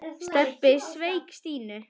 Stebbi sveik Stínu.